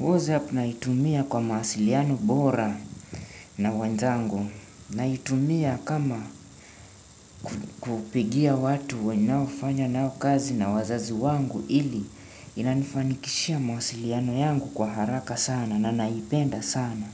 WhatsApp naitumia kwa mawasiliano bora na wenzangu. Naitumia kama kupigia watu wenao fanya nao kazi na wazazi wangu ili inanifanikishia mawasiliano yangu kwa haraka sana na naipenda sana.